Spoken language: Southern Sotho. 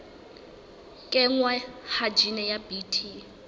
kenngwa ha jine ya bt